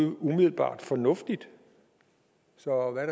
umiddelbart fornuftigt så hvad